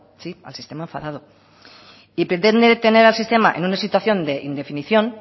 sí al sistema enfadado y pretende tener al sistema en una situación de indefinición